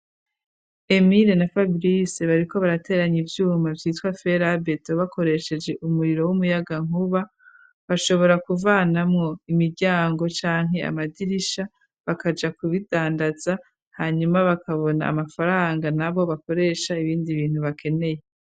Emile na fabrise bariko barateranya ivyuma vyitwa felabeto bakoresheje umuriro w'umuyaga nkuba bashobora kuvanamwo imiryango canke amadirisha bakaja kubidandaza hanyuma bakabona amafaranga na bo bakoresha ibindi bintu bakeneye.